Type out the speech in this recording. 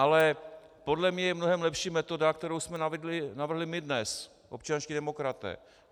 Ale podle mě je mnohem lepší metoda, kterou jsme navrhli my dnes - občanští demokraté.